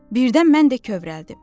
Birdən mən də kövrəldim.